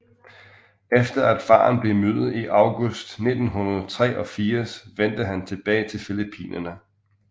Efter at faren blev myrdet i august 1983 vendte han tilbage til Filippinerne